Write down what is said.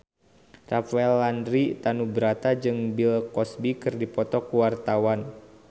Rafael Landry Tanubrata jeung Bill Cosby keur dipoto ku wartawan